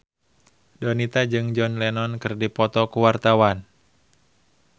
Donita jeung John Lennon keur dipoto ku wartawan